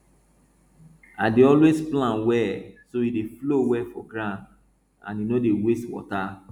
i dey always plan well so e dey flow well for ground and e no dey waste water